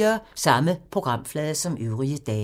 Samme programflade som øvrige dage